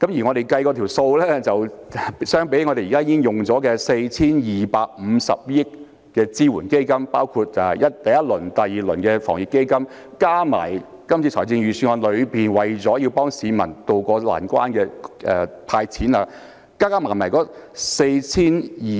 我們計算過，與現已使用 4,250 億元的支援基金相比，包括第一輪及第二輪的防疫抗疫基金，加上這次預算案為了協助市民渡過難關的"派錢"計劃，一共是......